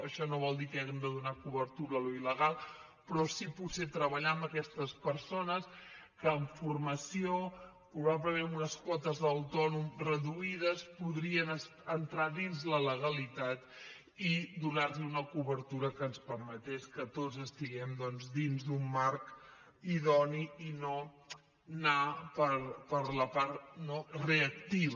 això no vol dir que hàgim de donar cobertura a allò il·legal però sí potser treballar amb aquestes persones que amb formació probablement amb unes quotes d’autònom reduïdes podrien entrar dins la legalitat i donar li una cobertura que ens permetés que tots estiguem dins d’un marc idoni i no anar per la part reactiva